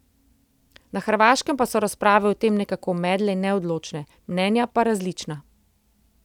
Na Hrvaškem pa so razprave o tem nekako medle in neodločne, mnenja pa različna.